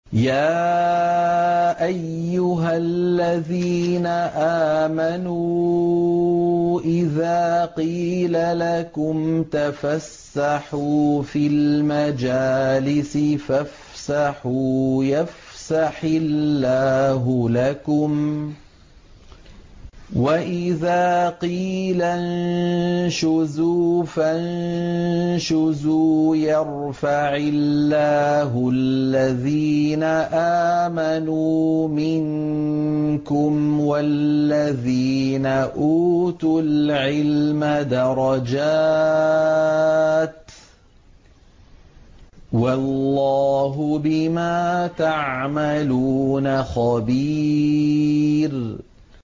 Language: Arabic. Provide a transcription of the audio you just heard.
يَا أَيُّهَا الَّذِينَ آمَنُوا إِذَا قِيلَ لَكُمْ تَفَسَّحُوا فِي الْمَجَالِسِ فَافْسَحُوا يَفْسَحِ اللَّهُ لَكُمْ ۖ وَإِذَا قِيلَ انشُزُوا فَانشُزُوا يَرْفَعِ اللَّهُ الَّذِينَ آمَنُوا مِنكُمْ وَالَّذِينَ أُوتُوا الْعِلْمَ دَرَجَاتٍ ۚ وَاللَّهُ بِمَا تَعْمَلُونَ خَبِيرٌ